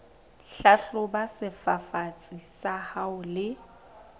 hlahloba sefafatsi sa hao le